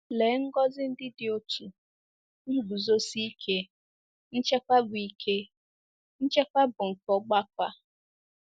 Lee ngọzi ndị dị otú, nguzosi ike, nchekwa bụ ike, nchekwa bụ nke ọgbakọ a!